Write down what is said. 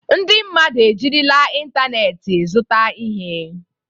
Ndị mmadụ ejirila ịntanetị zụta ihe.